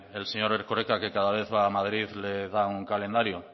el señor erkoreka que cada vez va a madrid le da un calendario